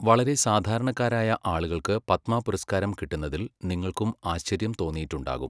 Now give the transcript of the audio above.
വളരെ സാധാരണക്കാരായ ആളുകൾക്ക് പത്മ പുരസ്കാരം കിട്ടുന്നതിൽ നിങ്ങൾക്കും ആശ്ചര്യം തോന്നിയിട്ടുണ്ടാകും.